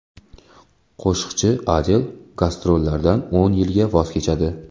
Qo‘shiqchi Adel gastrollardan o‘n yilga voz kechadi.